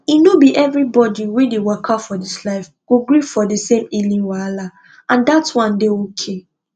e no be everybody wey dey waka for this life go gree for the same healing wahala and dat one dey okay